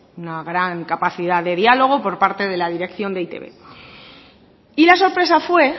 una gran capacidad de diálogo por parte de la dirección de e i te be y la sorpresa fue